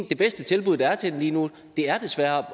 det bedste tilbud der er til dem lige nu desværre